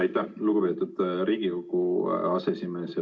Aitäh, lugupeetud Riigikogu aseesimees!